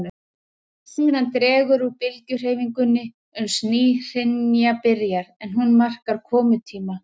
Síðan dregur úr bylgjuhreyfingunni uns ný hrina byrjar, en hún markar komutíma